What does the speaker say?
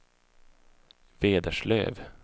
Vederslöv